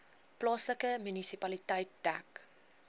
plaaslike munisipaliteit dek